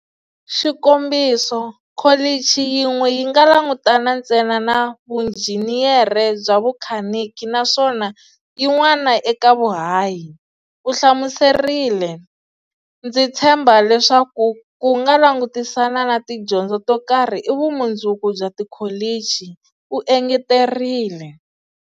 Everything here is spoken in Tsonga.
Xikombiso, Kholichi yin'we yi nga langutana ntsena na vunjhiniyere bya vukhanikhi naswona yin'wana eka vuhahi, u hlamuserile. Ndzi tshemba leswaku ku langutisana na tidyondzo to karhi i vumundzu ku bya tikholichi, u engeterile.